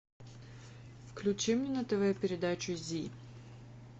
включи мне на тв передачу зи